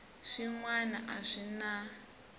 swin wana a swi na